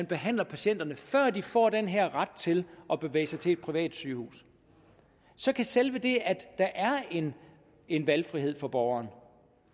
behandle patienterne før de får den her ret til at bevæge sig til et privat sygehus så kan selve det at der er en en valgfrihed for borgeren